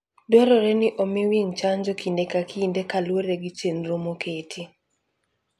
Dwarore ni omi winy chanjo kinde ka kinde kaluwore gi chenro moketi.